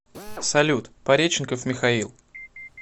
салют пареченков михаил